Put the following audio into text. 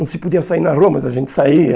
Não se podia sair na rua, mas a gente saía.